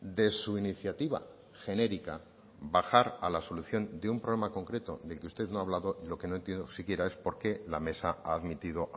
de su iniciativa genérica bajar a la solución de un problema concreto del que usted no ha hablado lo que no entiendo siquiera es por qué la mesa ha admitido